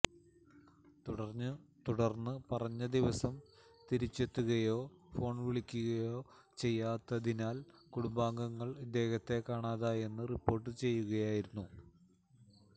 തുടർന്ന് പറഞ്ഞ ദിവസം തിരിച്ചെത്തുകയോ ഫോൺ വിളിക്കുകയോ ചെയ്യാത്തതിനാൽ കുടുംബാംഗങ്ങൾ ഇദ്ദേഹത്തെ കാണാതായെന്ന് റിപ്പോർട്ട് ചെയ്യുകയായിരുന്നു